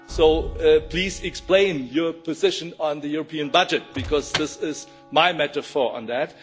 So please explain your position on the European budget, because this is my metaphor on that.